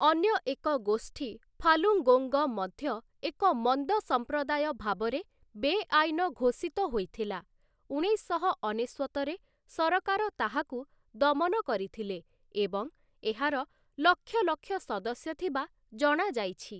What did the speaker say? ଅନ୍ୟ ଏକ ଗୋଷ୍ଠୀ ଫାଲୁଙ୍ଗୋଙ୍ଗ, ମଧ୍ୟ ଏକ ମନ୍ଦ ସଂପ୍ରଦାୟ ଭାବରେ ବେଆଇନ ଘୋଷିତ ହୋଇଥିଲା, ୧୯୯୯ ରେ ସରକାର ତାହାକୁ ଦମନ କରିଥିଲେ ଏବଂ ଏହାର ଲକ୍ଷ ଲକ୍ଷ ସଦସ୍ୟ ଥିବା ଜଣାଯାଇଛି ।